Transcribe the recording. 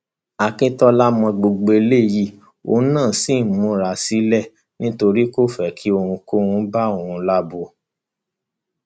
akíntola mọ gbogbo eléyìí òun náà ṣì ń múra sílẹ nítorí kò fẹ kí ohunkóhun bá òun lábo